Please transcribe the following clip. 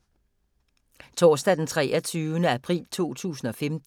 Torsdag d. 23. april 2015